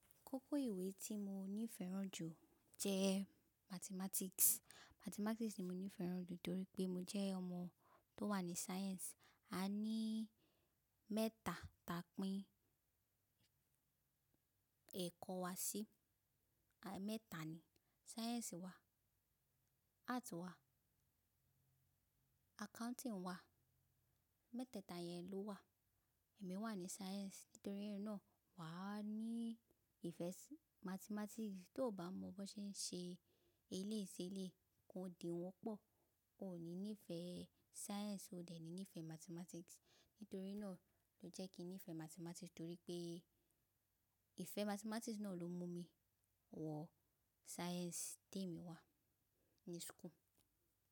Kókó ìwé tí mo ní ìfẹ́ràn jù jẹ́ mathematics. Mathematics ni mo ní ìfẹ́ràn jù torí pé mo jẹ́ ọmọ tó wà ní science. A ní mẹ́ta ta pín ẹ̀kọ́ wa sí. À, mẹ́ta ni. Science wa, art wa, accounting wa. Mẹ́tẹ́ta yẹn ló wà. Èmi wà ní science nítorí náà wa ní ìfẹ́ sí mathematics. Tí o bá mọ bó ṣe ń ṣe eléésé lé, kò dínwọ́ pọ̀. O ò ní nífẹ̀ẹ́ science, o dẹ̀ ní nífẹ̀ẹ́ mathematics. Nítorí náà ló jẹ́ kí n nífẹ̀ẹ́ mathematics torí pé ìfẹ́ mathematics náà ló mú mi wọ science tí èmi wà ní school.